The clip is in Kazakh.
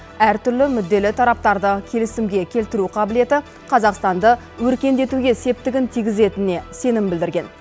әртүрлі мүдделі тараптарды келісімге келтіру қабілеті қазақстанды өркендетуге септігін тигізетініне сенім білдірген